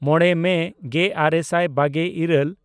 ᱢᱚᱬᱮ ᱢᱮ ᱜᱮᱼᱟᱨᱮ ᱥᱟᱭ ᱵᱟᱜᱮᱼᱤᱨᱟᱹᱞ